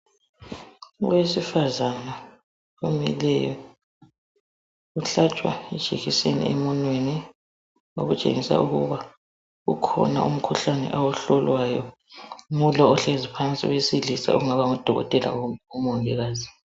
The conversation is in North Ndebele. Owesifazana omileyo, uhlatshwa ijekiseni emunweni. Okutshengisa ukuthi kukhona umkhuhlane awuhlolwayo ngulo ohlezi phansi, ongaba ngudokotela kumbe umongikazi.